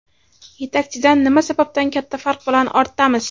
Yetakchidan nima sababdan katta farq bilan ortdamiz?